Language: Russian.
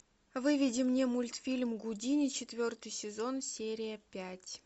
выведи мне мультфильм гудини четвертый сезон серия пять